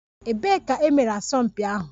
Ebee ka e mere asọmpi ahụ?